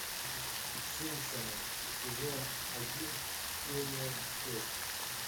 симпсоны сезон один серия шесть